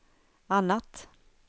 annat